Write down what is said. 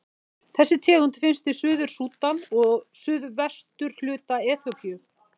Þessi tegund finnst í Suður-Súdan og suðvesturhluta Eþíópíu.